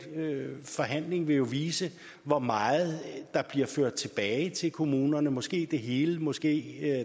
forhandling vil vise hvor meget der bliver ført tilbage til kommunerne måske det hele måske